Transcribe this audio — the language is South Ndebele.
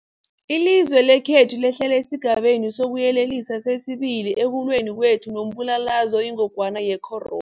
Ilizwe lekhethu lehlele esiGabeni sokuYelelisa sesi-2 ekulweni kwethu nombulalazwe oyingogwana ye-coro